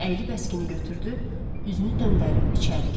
Əyilib əskini götürdü, üzünü döndərib içəri girdi.